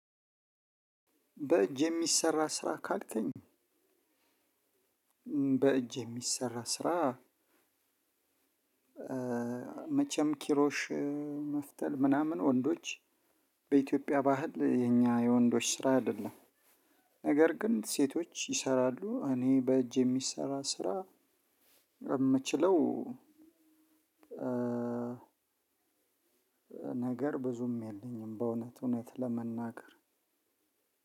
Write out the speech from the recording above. በእጅ የሚሰራ ስራ ካልከኝ? በእጅ የሚሰራ ስራ። መቼም ኪሮሽ መፍተል ምናምን ወንዶች በኢትዮጵያ ባህል የኛ የወንዶች ስራ አይደለም። ነገር ግን ሴቶች ይሰራሉ። እኔ በእጅ የምሚሰራ የምችለው። ነገር ብዙም የለኝም በእውነት እውነት ለመናገር